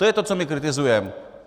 To je to, co my kritizujeme.